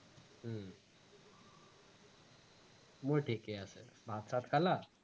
মোৰ ঠিকেই আছে, ভাত চাত খালা?